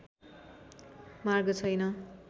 मार्ग छैन।